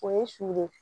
O ye sugoro ye